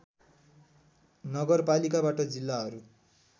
नगरपालिकाबाट जिल्लाहरू